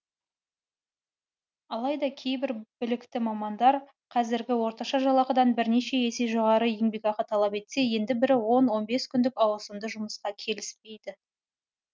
алайда кейбір білікті мамандар қазіргі орташа жалақыдан бірнеше есе жоғары еңбекақы талап етсе енді бірі он он бес күндік ауысымды жұмысқа келіспейді